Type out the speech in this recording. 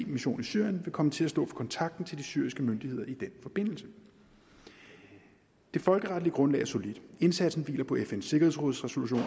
mission i syrien vil komme til at stå for kontakten til de syriske myndigheder i den forbindelse det folkeretlige grundlag er solidt indsatsen hviler på fns sikkerhedsråds resolution